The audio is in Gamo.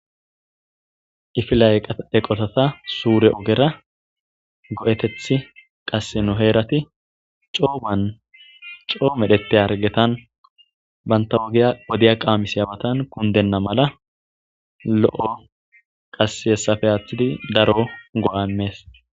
Ifila'eqeqotata suure ogera go'etethi qasseno heerati cooban coo medhete argetan bantawogiya odiya qaamisiyawatan kundenna mala lo'o qasse hessafe aaththidi daro go'anmees